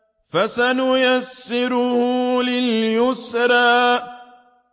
فَسَنُيَسِّرُهُ لِلْيُسْرَىٰ